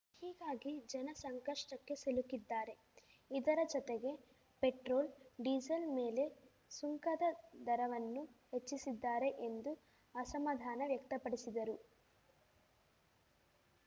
ಹೀಗಾಗಿ ಜನ ಸಂಕಷ್ಟಕ್ಕೆ ಸಿಲುಕಿದ್ದಾರೆ ಇದರ ಜೊತೆಗೆ ಪೆಟ್ರೊಲ್‌ ಡೀಸಲ್‌ ಮೇಲೆ ಸುಂಕದ ದರವನ್ನು ಹೆಚ್ಚಿಸಿದ್ದಾರೆ ಎಂದು ಅಸಮಾಧಾನ ವ್ಯಕ್ತಪಡಿಸಿದರು